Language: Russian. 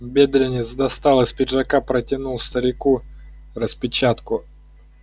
бедренец достал из пиджака протянул старику распечатку